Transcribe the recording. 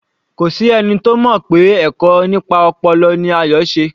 Kò sí ẹni tí ó mọ̀ pé ẹ̀kọ́ nípa ọpọlọ ni Ayo se